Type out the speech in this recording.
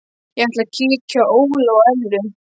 Ég ætla að kíkja á Óla og Ellu.